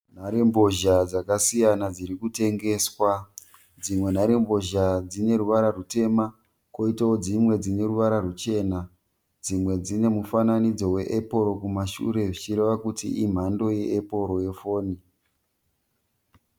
Nhare mbozha dzakasiyana dzirikutengeswa .Dzimwe nhare mbozha dzineruvara rutemha, koita dzimwe dzineruvara ruchena .Dzimwe dzinemufananidzo we epuro kumashure zvichireva kuti imhando ye epuro ye foni.